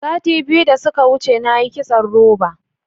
Sati biyu da suka wuce na yi kitson roba.